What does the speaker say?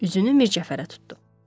Üzünü Mircəfərə tutdu.